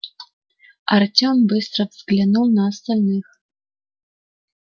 артем быстро взглянул на остальных